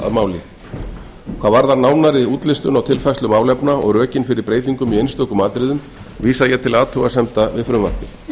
máli hvað varðar nánari útlistun á tilfærslu málefna og rökin fyrir breytingum í einstökum atriðum vísa ég til athugasemda við